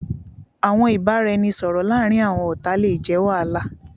Awọn ibaraẹnisọrọ laarin awọn ọta le jẹ wahala